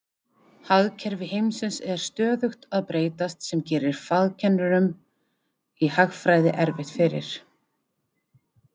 Hagkerfi heimsins er stöðugt að breytast sem gerir fagkennurum i hagfræði erfitt fyrir.